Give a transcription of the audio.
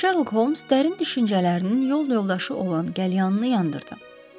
Şerlok Holms dərin düşüncələrinin yol yoldaşı olan qəlyanını yandırdı.